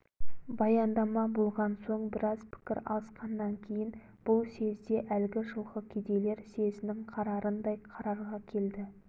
баяндама болған соң біраз пікір алысқаннан кейін бұл съезде әлгі жылғы кедейлер съезінің қарарындай қарарға келді